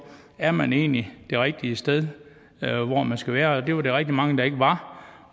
er man egentlig det rigtige sted hvor man skal være det var der rigtig mange der ikke var